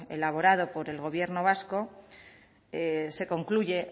elaborado por el gobierno vasco se concluye